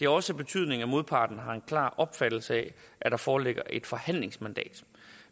også betydning at modparten har en klar opfattelse af at der foreligger et forhandlingsmandat